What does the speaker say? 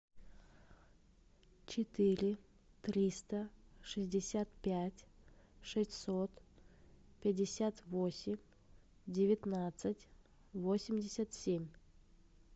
четыре триста шестьдесят пять шестьсот пятьдесят восемь девятнадцать восемьдесят семь